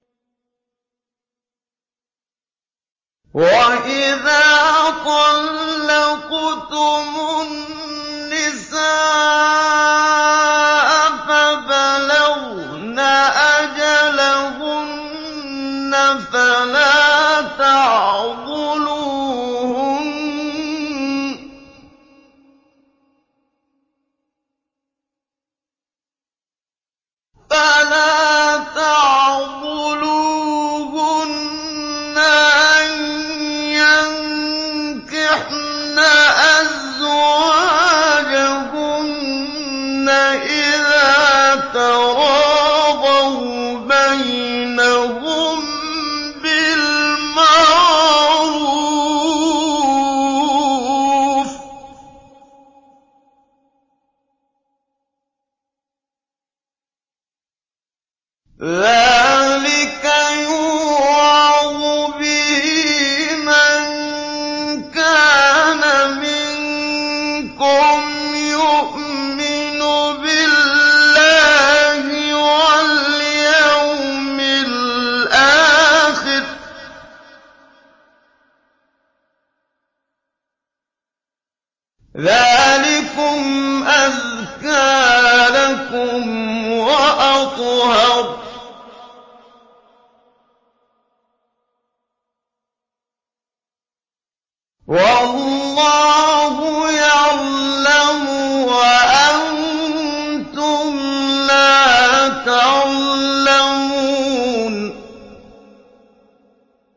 وَإِذَا طَلَّقْتُمُ النِّسَاءَ فَبَلَغْنَ أَجَلَهُنَّ فَلَا تَعْضُلُوهُنَّ أَن يَنكِحْنَ أَزْوَاجَهُنَّ إِذَا تَرَاضَوْا بَيْنَهُم بِالْمَعْرُوفِ ۗ ذَٰلِكَ يُوعَظُ بِهِ مَن كَانَ مِنكُمْ يُؤْمِنُ بِاللَّهِ وَالْيَوْمِ الْآخِرِ ۗ ذَٰلِكُمْ أَزْكَىٰ لَكُمْ وَأَطْهَرُ ۗ وَاللَّهُ يَعْلَمُ وَأَنتُمْ لَا تَعْلَمُونَ